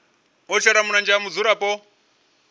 u shela mulenzhe ha mudzulapo